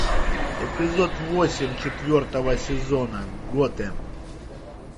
эпизод восемь четвертого сезона готэм